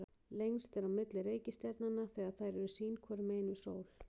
lengst er á milli reikistjarnanna þegar þær eru sín hvoru megin við sól